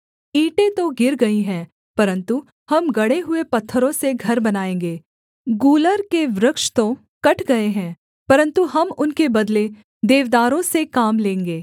ईंटें तो गिर गई हैं परन्तु हम गढ़े हुए पत्थरों से घर बनाएँगे गूलर के वृक्ष तो कट गए हैं परन्तु हम उनके बदले देवदारों से काम लेंगे